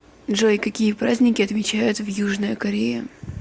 джой какие праздники отмечают в южная корея